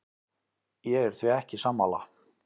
Ég er því ekki sammála.